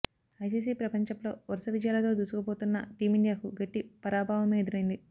ICC ప్రపంచప్లో వరుస విజయాలతో దూసుకుపోతున్న టీమిండియాకు గట్టి పరాభవమే ఎదురైంది